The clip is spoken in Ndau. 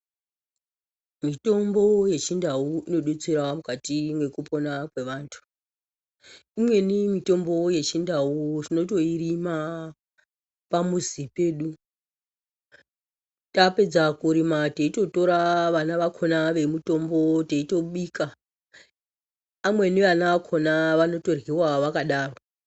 Mitombo yechindau inodetserawo mukati mwekupona kwevantu. Imweni mitombo yechindau tinotoirima pamuzi pedu. Tapedza kurima teitotora vana vakhona vemutombo teitobika. Amweni vana vakhona vanotoryiwa vakadaro.